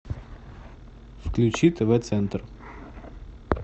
включи тв центр